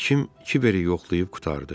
Həkim kiberi yoxlayıb qurtardı.